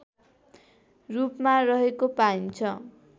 रूपमा रहेको पाइन्छ